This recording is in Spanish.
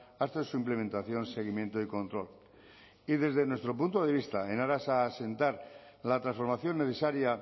hasta su implementación seguimiento y control y desde nuestro punto de vista en aras a asentar la transformación necesaria